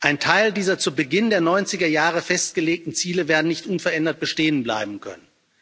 Ein Teil dieser zu Beginn der neunziger Jahre festgelegten Ziele wird nicht unverändert bestehen bleiben können.